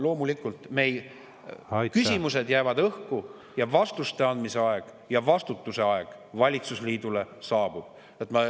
Loomulikult, küsimused jäävad õhku ja vastuste andmise aeg ja vastutuse aeg valitsusliidule saabub.